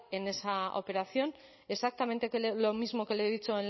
en esa operación exactamente lo mismo que le he dicho